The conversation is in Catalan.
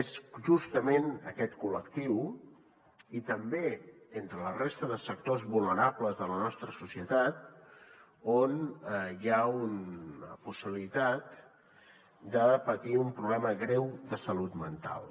és justament aquest col·lectiu i també entre la resta de sectors vulnerables de la nostra societat on hi ha una possibilitat de patir un problema greu de salut mental